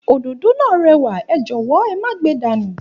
Òdòdó náà réwà, é jòwó é má ge dànù